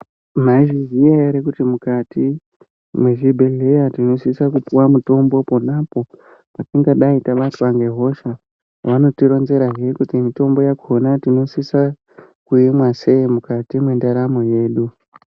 Maizviziya ere kuti mukati, mwezvibhedhleya tinosisa kupuwa mitombo, pona apo patingadai tabatwa nehosha. Vanotironzerazve kuti mitombo yakhona tinosisa kuimwa sei, mukati mwendaramo yedu.